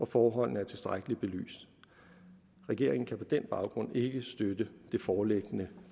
forholdene er tilstrækkeligt belyst regeringen kan på den baggrund ikke støtte det foreliggende